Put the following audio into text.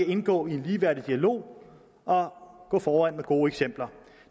indgå i en ligeværdig dialog og gå foran med gode eksempler